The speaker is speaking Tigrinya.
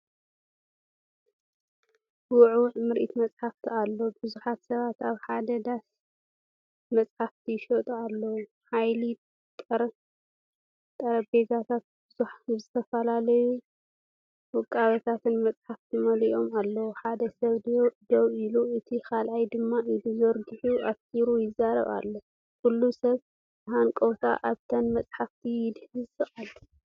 ውዕዉዕ ምርኢት መጽሓፍቲ ኣሎ! ብዙሓት ሰባት ኣብ ሓደ ዳስ መጽሓፍቲ ይሸጡ ኣለዉ። ሓያሎ ጠረጴዛታት ብዝተፈላለዩን ውቁባትን መጻሕፍቲ መሊኦም ኣለዉ። ሓደ ሰብ ደው ኢሉ እቲ ካልኣይ ድማ ኢዱ ዘርጊሑ ኣተኲሩ ይዛረብ ኣሎ። ኩሉ ሰብ ብሃንቀውታ ኣብተን መጻሕፍቲ ይድህስስ ኣሎ።